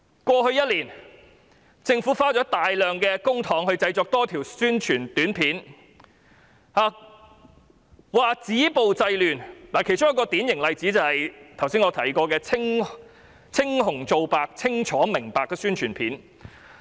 過去一年，政府花了大量公帑製作多條宣傳短片，說要止暴制亂，其中一個典型例子就是我剛才提過的"青紅皂白清楚明白"宣傳片。